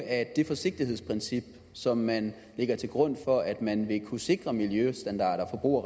at det forsigtighedsprincip som man lægger til grund for at man vil kunne sikre miljøstandarder og